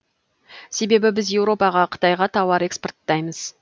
себебі біз еуропаға қытайға тауар экспорттаймыз